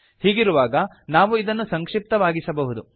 ಹೀಗಿರುವಾಗ ನಾವು ಇದನ್ನು ಸಂಕ್ಷಿಪ್ತವಾಗಿಸಬಹುದು